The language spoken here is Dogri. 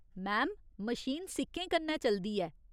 मैम, मशीन सिक्कें कन्नै चलदी ऐ।